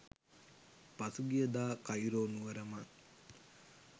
පසුගියදා Cairo නුවර මං